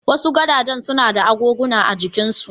Wasu gadajen suna da agoguna a jikinsu.